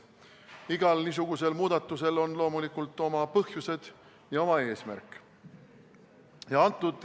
Igal niisugusel muudatusel on loomulikult oma põhjused ja oma eesmärk.